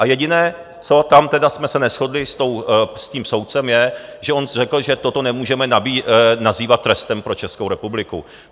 A jediné, co tam tedy jsme se neshodli s tím soudcem, je, že on řekl, že toto nemůžeme nazývat trestem pro Českou republiku.